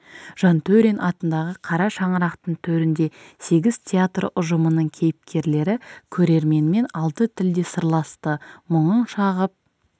жантөрин атындағы қара шаңырақтың төрінде сегіз театр ұжымының кейіпкерлері көрерменмен алты тілде сырласты мұңын шағып